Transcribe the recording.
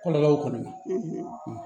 Kɔlɔlɔw kɔni